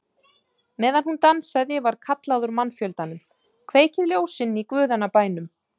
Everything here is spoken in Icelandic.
Meðan hún dansaði var kallað úr mannfjöldanum: Kveikið ljósin í guðanna bænum!